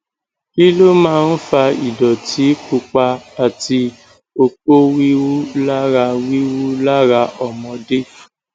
kí ló máa ń fa ìdọtí pupa àti oko wiwu lara wiwu lara ọmọdé